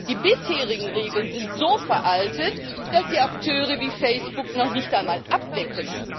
Die bisherigen Regeln sind so veraltet, dass sie Akteure wie Facebook noch nicht einmal abdecken.